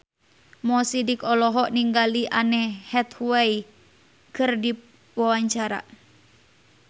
Mo Sidik olohok ningali Anne Hathaway keur diwawancara